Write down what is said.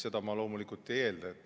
Seda ma loomulikult ei eelda.